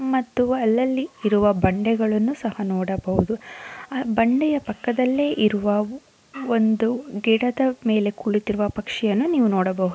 ಮತ್ತು ಅಲ್ಲಲ್ಲಿ ಇರುವ ಬಂಡೆಗಳನ್ನು ಸಹ ನೋಡಬಹುದು ಆ ಬಂಡೆಯ ಪಕ್ಕದಲ್ಲೇ ಇರುವ ಒಂದು ಗಿಡದ ಮೇಲೆ ಕುಳಿತಿರುವ ಪಕ್ಷಿಯನ್ನು ನೀವು ನೋಡಬಹುದು.